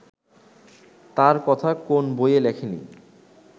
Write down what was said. তার কথা কোন বইয়ে লেখে নি